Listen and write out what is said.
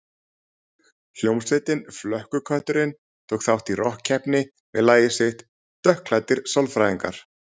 Hljómsveitin Flökkukötturinn tók þátt í rokkkeppninni með lagið sitt „Dökkklæddir sálfræðingar“.